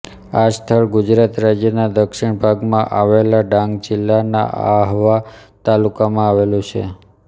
આ સ્થળ ગુજરાત રાજ્યના દક્ષિણ ભાગમાં આવેલા ડાંગ જિલ્લાના આહવા તાલુકામાં આવેલું છે